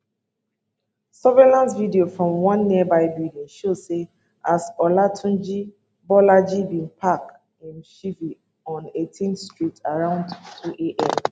surveillance video from one nearby building show say as olatunji bolaji bin park im chevy on 18th street around 2 am